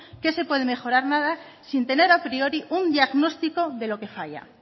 que se pueda mejorar nada sin tener a priori un diagnóstico de lo que falla